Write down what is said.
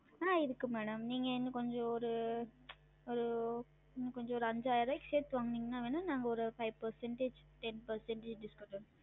ஆஹ் இருக்கு madam நீங்க இன்னும் கொஞ்சம் ஒரு ஒரு கொஞ்சம் ஒரு அஞ்சாயிருவாய்க்கு சேத்து வாங்குநீங்கனா ஒரு five percentage, ten percentage discount